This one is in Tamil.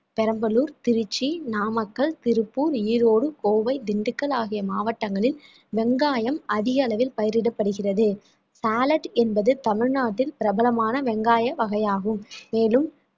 பெரம்பலூர், திருச்சி, நாமக்கல், திருப்பூர், ஈரோடு, கோவை, திண்டுக்கல் ஆகிய மாவட்டங்களில் வெங்காயம் அதிக அளவில் பயிரிடப்படுகிறது salad என்பது தமிழ்நாட்டில் பிரபலமான வெங்காய வகையாகும் மேலும்